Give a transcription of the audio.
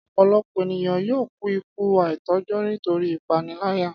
Ọ̀pọ̀lọpọ̀ ènìyàn yóò kú ikú àìtọ́jọ́ nítorí ìpániláyà